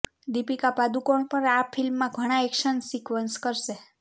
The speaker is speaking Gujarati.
દીપિકા પાદુકોણ પણ આ ફિલ્મમાં ઘણા એક્શન સિક્વન્સ કરશે